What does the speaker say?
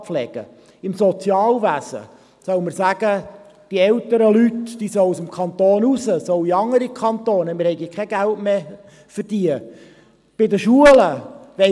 Sollen wir im Sozialwesen sagen, dass die älteren Leute den Kanton verlassen und in andere Kantone gehen sollen, weil wir kein Geld mehr für sie haben?